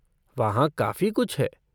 वहाँ काफ़ी कुछ है।